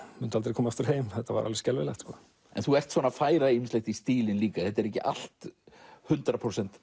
mundi aldrei koma aftur heim þetta var alveg skelfilegt en þú ert að færa ýmislegt í stílinn líka þetta er ekki allt hundrað prósent